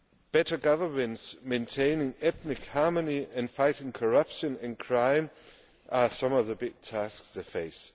Better governance, maintaining ethnic harmony and fighting corruption and crime are some of the big tasks it faces.